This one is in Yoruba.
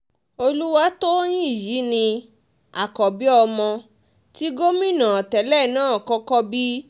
olùwátòyìn yìí ni àkọ́bí ọmọ tí gómìnà tẹ́lẹ̀ náà kọ́kọ́ bí